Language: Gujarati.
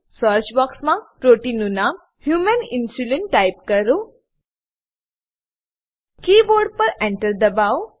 સર્ચ બોક્સમાં પ્રોટીનનું નામ હ્યુમન ઇન્સ્યુલીન ટાઈપ કરોકીબોર્ડ પર એન્ટર દબાઓ